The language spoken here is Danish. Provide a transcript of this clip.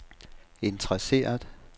interesseret